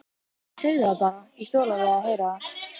Segðu það bara, ég þoli alveg að heyra það.